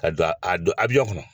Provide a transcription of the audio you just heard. Ka don a don a kɔnɔ